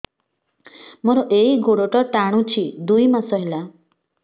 ମୋର ଏଇ ଗୋଡ଼ଟା ଟାଣୁଛି ଦୁଇ ମାସ ହେଲା